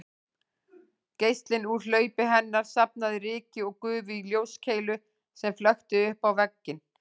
Geislinn úr hlaupi hennar safnaði ryki og gufu í ljóskeilu sem flökti uppá vegginn